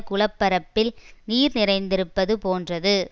குளப்பரப்பில் நீர் நிறைந்திருப்பது போன்றது